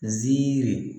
Nziri